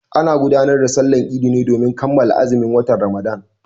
Ana gudanar da Sallar Idi ne domin kammala azumin watan Ramadan.